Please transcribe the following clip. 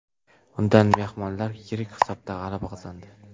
Unda mehmonlar yirik hisobda g‘alaba qozondi.